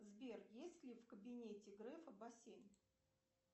сбер есть ли в кабинете грефа бассейн